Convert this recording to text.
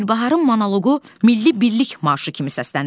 Gülbaharın monoloqu milli birlik marşı kimi səslənir.